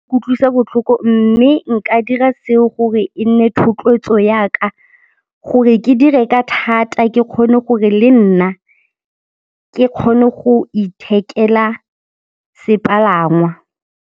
Kutlwisa botlhoko mme nka dira seo gore e nne thotloetso yaka gore ke dire ka thata ke kgone gore le nna ke kgone go ithekela sepalangwa.